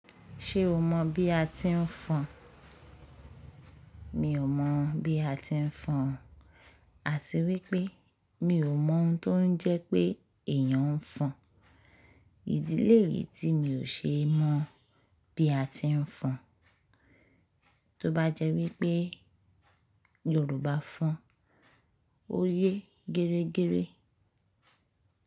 Ṣé o mọ bí a ti ń fọn? Mi ò mọ̀ bí a ti ń fọn àti wípé mi ò mọ ohun tó ń jẹ́ pé èèyàn ń fọn. Ìdí lé yìí tí mi ò ṣe é mọ bí a ti ń fọn, tó bá jẹ́ wípé Yorùbá fọn, ó yé gẹrẹ́gẹrẹ́.